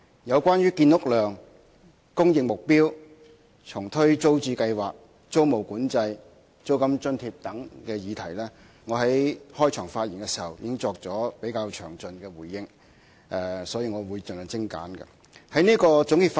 有關建屋量、供應目標、重推租置計劃、租務管制、租金津貼等議題，我在開場發言時已作了比較詳盡的回應，所以在總結發言時我會盡量精簡。